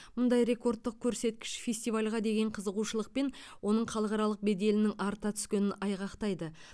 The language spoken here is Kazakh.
мұндай рекордтық көрсеткіш фестивальға деген қызығушылық пен оның халықаралық беделінің арта түскенін айғақтайды